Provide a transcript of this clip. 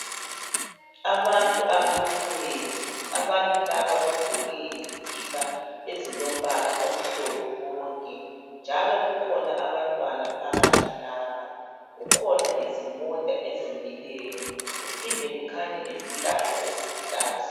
Abantu abamileyo abantu laba bagqoke izikipa ezilombala omhlophe bonke, njalo kukhona abantwana phakathi lapha kukhona imota ezimileyo kuphinde kukhanye izihlahla eziluhlaza.